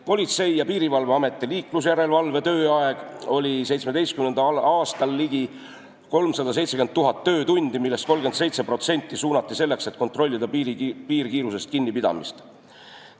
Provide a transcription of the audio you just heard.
Politsei- ja Piirivalveameti liiklusjärelevalve tööaeg oli 2017. aastal ligi 370 000 töötundi, millest 37% kasutati selleks, et kontrollida piirkiirusest kinnipidamist.